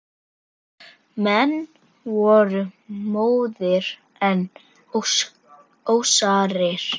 Menn voru móðir en ósárir.